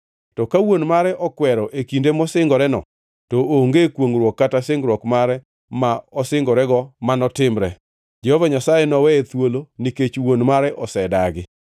To ka wuon mare okwero e kinde mosingoreno, to onge kwongʼruok kata singruok mare ma osingorego manitimre; Jehova Nyasaye noweye thuolo nikech wuon mare osedagi.